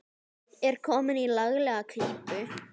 Er komin í laglega klípu.